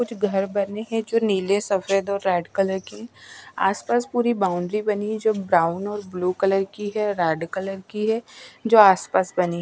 कुछ घर बने हैं जो नीले सफेद और रेड कलर के आसपास पूरी बाउंड्री बनी जो ब्राउन और ब्लू कलर की है रेड कलर की है जो आसपास बनी--